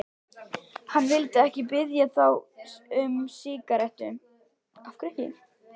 Hann vildi ekki biðja þá um sígarettu.